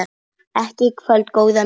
Ekki í kvöld, góða mín.